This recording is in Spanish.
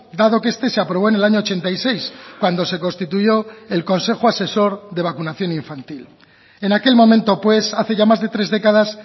dado que este se aprobó en el año ochenta y seis cuando se constituyo el consejo asesor de vacunación infantil en aquel momento pues hace ya más de tres décadas